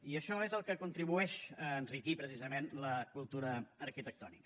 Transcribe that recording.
i això és el que contribueix a enriquir precisament la cultura arquitectònica